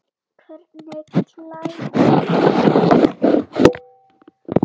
Hvernig klæðir maður sig þá?